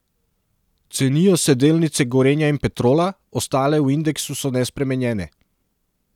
Cenijo se delnice Gorenja in Petrola, ostale v indeksu so nespremenjene.